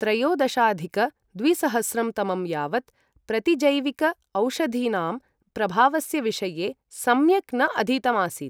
त्रयोदशाधिक द्विसहस्रं तमं यावत् प्रतिजैविक औषधीनां प्रभावस्य विषये सम्यक् न अधीतम् आसीत्।